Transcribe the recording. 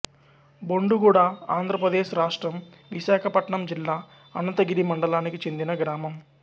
బొండుగుడ ఆంధ్ర ప్రదేశ్ రాష్ట్రం విశాఖపట్నం జిల్లా అనంతగిరి మండలానికి చెందిన గ్రామం